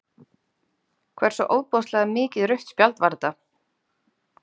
Hversu ofboðslega mikið rautt spjald var þetta?